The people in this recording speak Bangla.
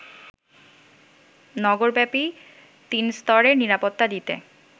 নগরব্যাপী তিনস্তরের নিরাপত্তা দিতে